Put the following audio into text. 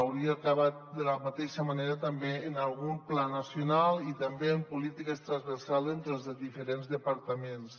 hau·ria acabat de la mateixa manera també amb algun pla nacional i també amb políti·ques transversals entre els diferents departaments